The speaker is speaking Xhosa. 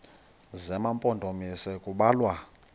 zema mpondomise kubalwa